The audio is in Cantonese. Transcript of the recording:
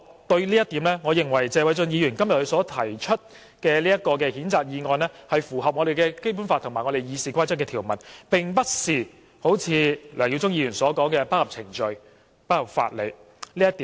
對於這一點，我認為謝偉俊議員今天提出的譴責議案是符合《基本法》及《議事規則》的條文，並不是好像梁耀忠議員所說般不合程序、不合法理。